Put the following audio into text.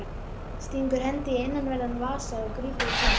Stingur hendi í innanverðan vasa og grípur í tómt.